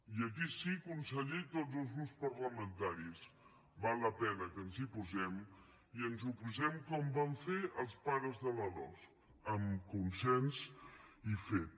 i aquí sí conseller i tots els grups parlamentaris val la pena que ens hi posem i ens hi posem com van fer els pares de la losc amb consens i fet